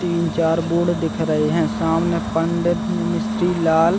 तीन चार बोर्ड दिख रहे है सामने पंडित मिस्त्री लाल--